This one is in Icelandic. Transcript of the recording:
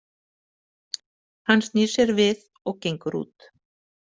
Hann snýr sér við og gengur út.